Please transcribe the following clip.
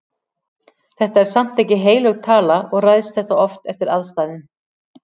Þetta er samt ekki heilög tala og ræðst þetta oft eftir aðstæðum.